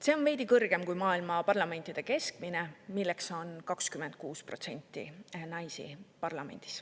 See on veidi kõrgem kui maailma parlamentide keskmine näitaja 26%.